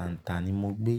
àǹtà ni mo gbé.